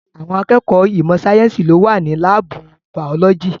Àwọn akẹ́kọ̀ọ́ ìmọ̀ sáyẹ̀nsì ló wà ní láàbù bàọ́lójì.